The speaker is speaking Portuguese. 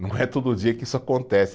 Não é todo dia que isso acontece.